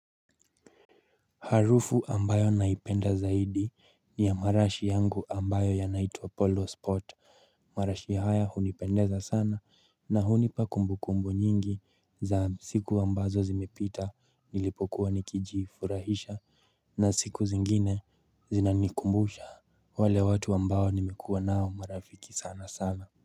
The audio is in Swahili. Harufu ambayo naipenda zaidi ni ya marashi yangu ambayo yanaitwa polo spot marashi haya hunipendeza sana na hunipa kumbu kumbu nyingi za siku ambazo zimepita nilipokuwa nikijifurahisha na siku zingine zinanikumbusha wale watu ambao nimekuwa nao marafiki sana sana.